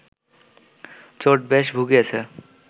চোট বেশ ভুগিয়েছে